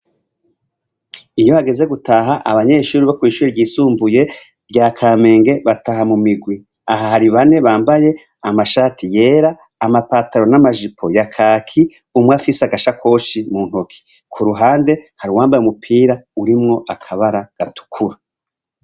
Iyo hageze gutaha abanyeshuri bo kw'ishuri ryisumbuye rya Kamenge , bataha mu mirwi. Aha hari bane bambaye amashati yera, amapataro n'amajipo ya kaki, umwafise agashakoshi mu ntoki. K'uruhande, hari uwambaye umupira urimwo akabara gatukura.